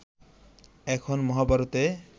এখন মহাভারতে